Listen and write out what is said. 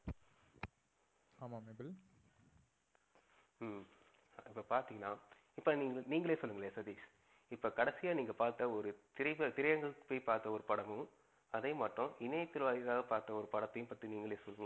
ஹம் இப்ப பாத்திங்கனா இப்ப நீங்களே சொல்லுங்களேன் சதீஷ் இப்ப கடைசியா நீங்க பாத்த ஒரு திரை திரைஅரங்குக்கு போயி பார்த்த ஒரு படமும், அதேமாற்றம் இன்னையத்தின் வாயிலாக பார்த்த ஒரு படத்தையும் பற்றி நீங்களே சொல்லுங்களே